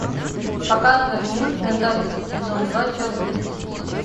показывай мульт менталист сезон два часть тридцать